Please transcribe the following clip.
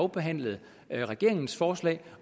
behandlede regeringens forslag